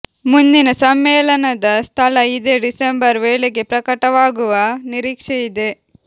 ಮುಂದಿನ ಸಮ್ಮೇಳನದ ಸ್ಥಳ ಇದೇ ಡಿಸೆಂಬರ್ ವೇಳೆಗೆ ಪ್ರಕಟವಾಗುವ ನಿರೀಕ್ಷೆ ಇದೆ